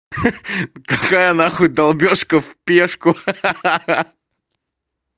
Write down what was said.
ха-ха какая нахуй долбёжка в пешку ха-ха